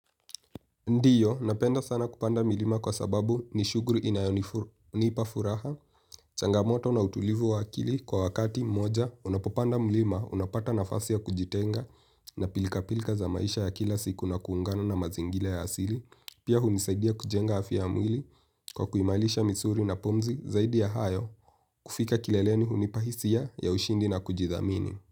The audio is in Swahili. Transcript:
Ndiyo, napenda sana kupanda milima kwa sababu ni shuguli inayonipa furaha, changamoto na utulivu wa akili kwa wakati moja, unapopanda milima, unapata nafasi ya kujitenga na pilka pilka za maisha ya kila siku na kuungana na mazingiira ya asili, pia hunisaidia kujenga afya ya mwili kwa kuimairisha misuli na pumzi zaidi ya hayo, kufika kileleni hunipa hisia ya ushindi na kujithamini.